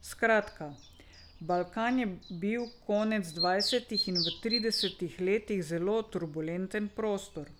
Skratka, Balkan je bil konec dvajsetih in v tridesetih letih zelo turbulenten prostor.